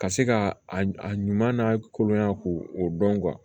Ka se ka a ɲuman n'a kolon ɲɛ ko o dɔn